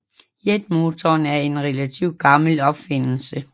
Jetmotoren er en relativ gammel opfindelse